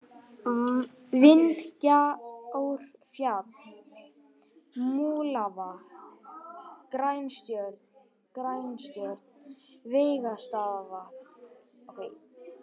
Vindgjárfjall, Múlavatn, Grænstjörn, Veigastaðavatn